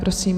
Prosím.